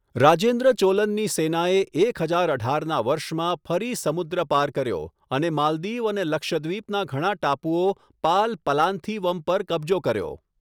રાજેન્દ્ર ચોલનની સેનાએ એક હજાર અઢારના વર્ષમાં ફરી સમુદ્ર પાર કર્યો, અને માલદીવ અને લક્ષદ્વીપના ઘણા ટાપુઓ પાલ પલાંથીવમ પર કબજો કર્યો.